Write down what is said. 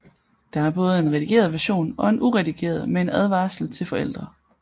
Der er både en redigeret version og en uredigeret med en advarsel til forældre